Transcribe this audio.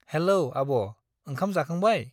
Hello आब' ओंखाम जाखांबाय ?